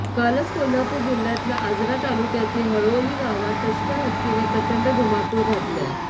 कालच कोल्हापूर जिल्ह्यातल्या आजरा तालुक्यातील हळोली गावात टस्कर हत्तीनं प्रचंड धुमाकूळ घातलाय